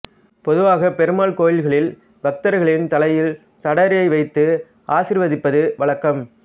பொதுவாக பெருமாள் கோயில்களில் பக்தர்களின் தலையில் சடாரியை வைத்து ஆசிர்வதிப்பது வழக்கம்